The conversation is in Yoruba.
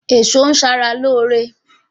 Èso ń sara lóore